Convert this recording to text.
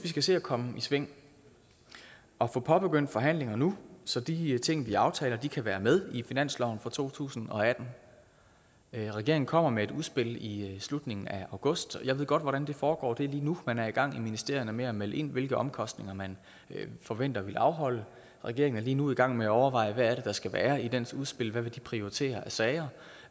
skal se at komme i sving og få påbegyndt forhandlinger nu så de ting vi aftaler kan være med i finansloven for to tusind og atten regeringen kommer med et udspil i slutningen af august og jeg ved godt hvordan det foregår det er lige nu man er i gang i ministerierne med at melde ind hvilke omkostninger man forventer at ville afholde regeringen er lige nu i gang med at overveje hvad der skal være i dens udspil hvad vil prioritere af sager